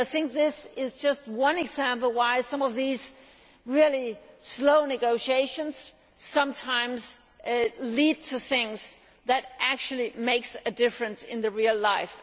This is just one example of why some of these really slow negotiations sometimes lead to things which actually make a difference in real life.